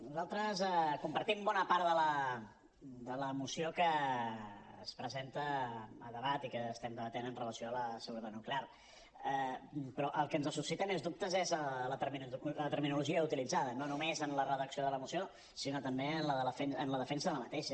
nosaltres compartim bona part de la moció que es presenta a debat i que estem debatent amb relació a la seguretat nuclear però el que ens suscita més dubtes és la terminologia utilitzada no només en la redacció de la moció sinó també en la defensa d’aquesta